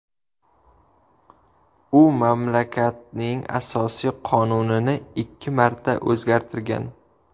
U mamlakatning asosiy qonunini ikki marta o‘zgartirgan.